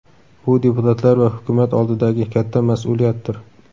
Bu deputatlar va hukumat oldidagi katta mas’uliyatdir.